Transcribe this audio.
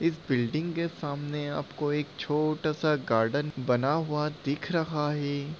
इस बिल्डिंग के सामने आपको एक छोटा-सा गार्डन बना हुआ दिख रहा है।